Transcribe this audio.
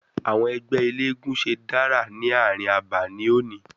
Àwọn ẹgbẹ́ eléégún ṣe dárà ní àárín àbà ní òní.